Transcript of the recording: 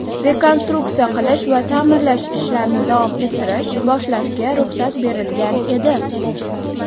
rekonstruksiya qilish va taʼmirlash ishlarini davom ettirish (boshlash)ga ruxsat berilgan edi.